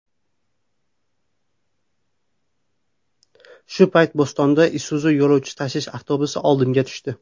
Shu payt Bo‘stonda Isuzu yo‘lovchi tashish avtobusi oldimga tushdi.